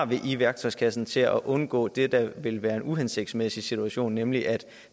vi har i værktøjskassen til at undgå det der ville være en uhensigtsmæssig situation nemlig at